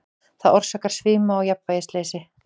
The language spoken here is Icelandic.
Það orsakar svima og jafnvægisleysi.